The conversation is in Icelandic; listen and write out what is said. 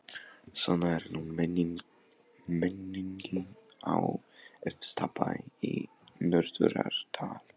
Svona er nú menningin á efsta bæ í Norðurárdal.